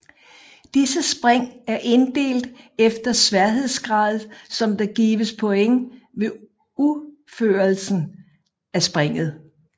Disse spring er inddelt efter sværhedsgrader som der gives point ved uførelse af springet